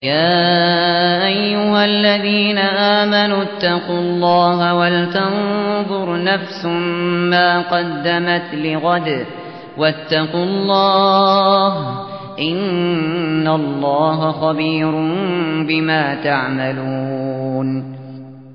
يَا أَيُّهَا الَّذِينَ آمَنُوا اتَّقُوا اللَّهَ وَلْتَنظُرْ نَفْسٌ مَّا قَدَّمَتْ لِغَدٍ ۖ وَاتَّقُوا اللَّهَ ۚ إِنَّ اللَّهَ خَبِيرٌ بِمَا تَعْمَلُونَ